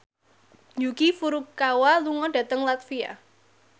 Yuki Furukawa lunga dhateng latvia